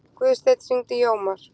Guðstein, hringdu í Jómar.